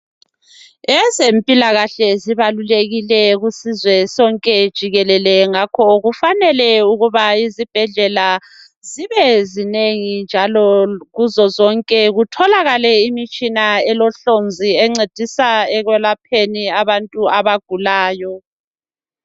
Ezempilakahle zibalulekile kusizwe sonke jikelele ngakho kufanele ukuba izibhedlela zibe zinengi njalo kuzozonke kutholakale imitshina elohlonzi encedisa ekwelapheni abantu abagulayo.